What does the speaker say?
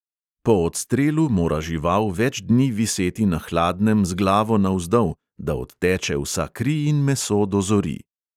Po odstrelu mora žival več dni viseti na hladnem z glavo navzdol, da odteče vsa kri in meso dozori.